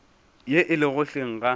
ye e lego hleng ga